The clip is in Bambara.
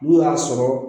N'u y'a sɔrɔ